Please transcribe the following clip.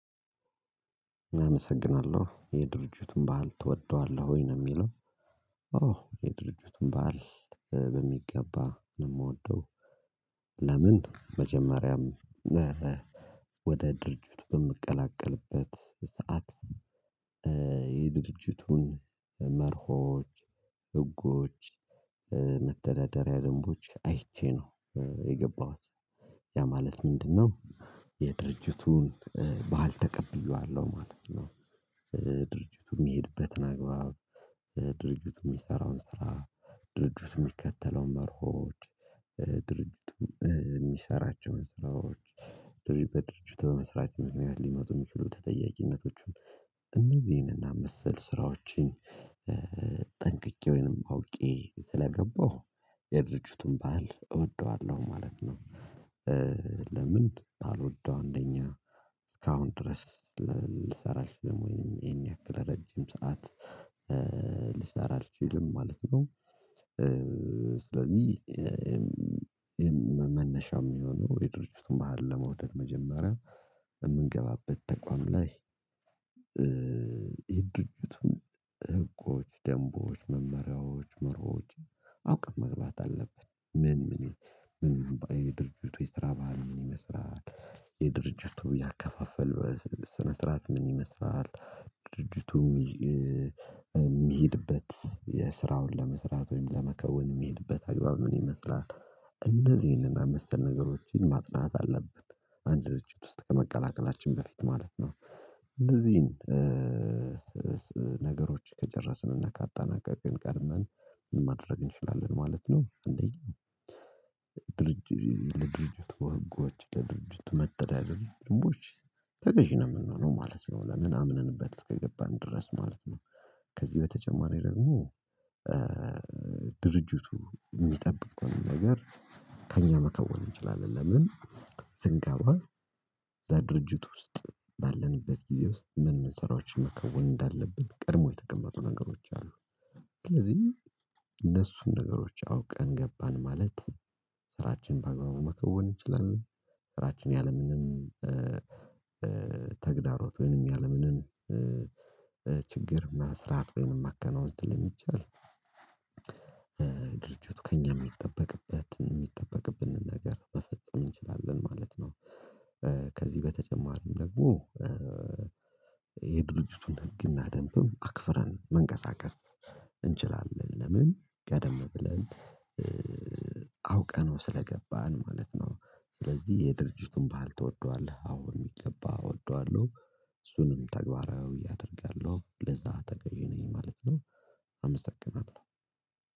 አመሰግናለሁ የድርጅቱን ባህል ትወደዋለህ ወይ ነው የሚለው? ኦ የድርጅቱን ባህል በሚገባ ነው የምወደው። ለምን መጀመሪያም ወደ ድርጅት በምቀላቀልበት ሰዓት የድርጅቱን መርሆች ህጎች መተዳደሪያ ደንቦች አይቼ ነው የገባኋት ያ ማለት ምንድነው? የድርጅቱን ባህል ተቀብዬዋለሁ ማለት ነው። ድርጅቱ የሚሄድበትን አግባብ ድርጅቱ የሚሰራውን ስራ ድርጅት የሚከተለው መርሆች ድርጅት የሚሰራቸውን ስራዎች ድርጅቱ በመስራት ምክንያት ሊመጡ የሚችሉ ተጠያቂነቶቹን እነዚህንና መሰል ስራዎችን ጠንቅቄ ወይንም አውቄ ስለገባሁ የድርጅቱን ባህል እወደዋለሁ ማለት ነው። ለምን አልወደው እንደኛ እስካሁን ድረስ ልሰራለች አልችልም ወይንም ይሄን ያክል ረጅም ሰዓት ልሰራ አልችልም ማለት ነው። ስለዚህ መነሻው የሚሆነው የድርጅቱን ባህል ለመውደድ መጀመሪያ የምንገባበት ተቋም ላይ የድርጅቱን ደንቦች መመሪያዎች መርሆች አውቀን መግባት አለብን። ምን ምን ይሄ ድርጅቱ የስራ ባህል ምን ይመስላል? የድርጅቱ ያከፋፈል ስነ ስርዓት ምን ይመስላል? ድርጅቱም የሚሄድበት የስራውን ለመስራት ወይም ለመከወን የሚሄድበት አግባብ ምን ይመስላል እንደዚህ ይህንን አመሰል ነገሮችን ማጥናት አለብን። አንድ ልጅ ውስጥ ከመቀላቀላችን በፊት ማለት ነው እንደዚህን ነገሮች ከጨረስንና ካጣናቀቅን ቀድመን ማድረግ እንችላለን ማለት ነው። አንደኛው ድርጅት ወጎች ለድርጅት መተዳደል ልምቦች ተገዢ ነው የምንሆነው ማለት ነው። ለምን አምነንበት እስከገባን ድረስ ማለት ነው። ከዚህ በተጨማሪ ደግሞ ድርጅቱ የሚጠብቀውን ነገር ከእኛ መከወን እንችላለን ለምን ስንገባ ዛሬ ድርጅት ውስጥ ባለንበት ጊዜ ውስጥ ምን መሰራችን መከወን እንዳለብን ቀድሞ የተቀመጡ ነገሮች አሉ። ስለዚህ እነሱን ነገሮች አውቀን ገባን ማለት ስራችን በአግባቡ መከወን እንችላለን። ስራችን ያለምንም ተግዳሮት ወይንም ያለምንም ያለምንን ችግር እና ፈራት የማከናውንት ስለሚቻል ድርጅቱ ከእኛ የሚጠበቅበትን የሚጠበቅብንን ነገር መፈጸም እንችላለን ማለት ነው። ከዚህ በተጨማሪም ደግሞ የድርጅቱን ህግና ደንብም አክፍረን መንቀሳቀስ እንችላለን ለምን ቀደም ብለን አውቀነው ስለገባን ማለት ነው። ስለዚህ የድርጅቱን ባልተወዷል አዎ የሚገባ እወደዋለሁ እሱንም ተግባራዊ እያደረገ ያለው ለዛ ተገዢ ነኝ ማለት ነው። አመሰግናለሁ